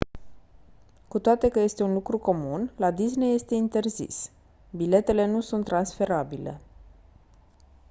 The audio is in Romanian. cu toate că este un lucru comun la disney este interzis biletele nu sunt transferabile